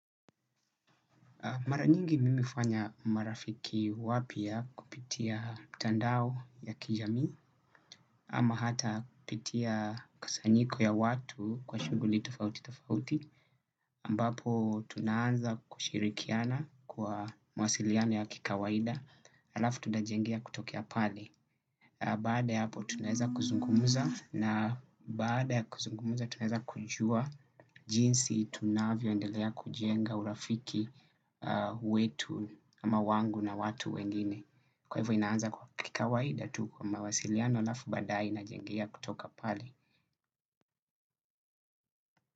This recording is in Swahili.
Maranyingi mimi hufanya marafiki wapya kupitia mitandao ya kijami, ama hata kupitia kusanyiko ya watu kwa shuguli tofauti tofauti, ambapo tunaanza kushirikiana kwa mawasiliano ya kikawaida, alafu tutajengea kutokea pale. Bada ya hapo tunaweza kuzungumza na bada ya kuzungumza tunaweza kujua jinsi tunavyoendelea kujenga urafiki wetu ama wangu na watu wengine. Kwahivyo inaanza kikawaida tu kwa mawasiliano alafu badae inajengea kutoka pale.